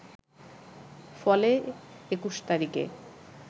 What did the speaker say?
ফলে ২১ তারিখে